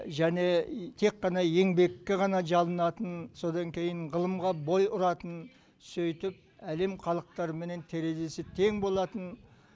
және тек қана еңбекке ғана жалынатын содан кейін ғылымға бой ұратын сөйтіп әлем халықтарыменен терезесі тең болатын